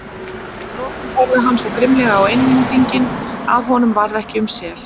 Að lokum horfði hann svo grimmilega á Englendinginn að honum varð ekki um sel.